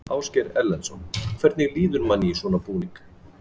Ásgeir Erlendsson: Hvernig líður manni í svona búning?